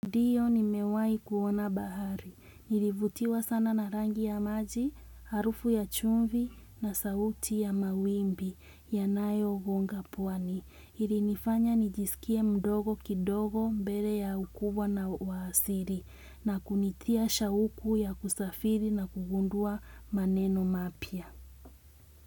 Ndio nimewahi kuona bahari, nilivutiwa sana na rangi ya maji, harufu ya chumvi na sauti ya mawimbi yanayogonga pwani. Ilinifanya nijisikie mdogo kidogo mbele ya ukubwa na uwasili na kunitia shauku ya kusafiri na kugundua maneno mapya.